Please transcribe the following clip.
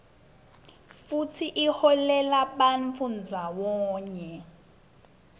futsi ilolelabantfu ndzawonye